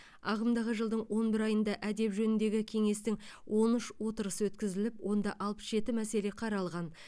ағымдағы жылдың он бір айында әдеп жөніндегі кеңестің он үш отырысы өткізіліп онда алпыс жеті мәселе қаралған